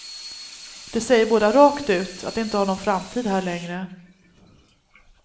De säger båda rakt ut att de inte har någon framtid här längre.